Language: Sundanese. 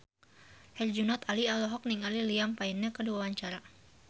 Herjunot Ali olohok ningali Liam Payne keur diwawancara